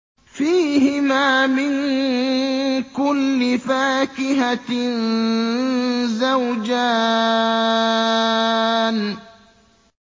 فِيهِمَا مِن كُلِّ فَاكِهَةٍ زَوْجَانِ